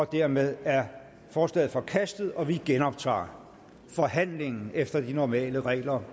dermed er forslaget forkastet og vi genoptager forhandlingen efter de normale regler